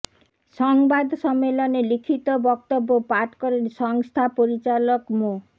সংবাদ সম্মেলনে লিখিত বক্তব্য পাঠ করেন সংস্থা পরিচালক মো